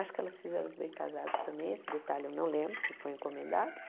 Acho que elas fizeram os bem casados também, esse detalhe eu não lembro se foi encomendado.